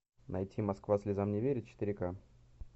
найти москва слезам не верит четыре ка